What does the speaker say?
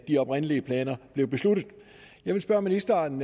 de oprindelige planer jeg vil spørge ministeren